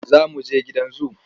Za mu je gidan zu.